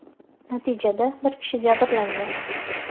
Natijada bir kishi jabrlangan.